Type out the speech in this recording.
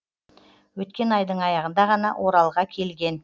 өткен айдың аяғында ғана оралға келген